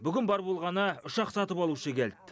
бүгін бар болғаны үш ақ сатып алушы келд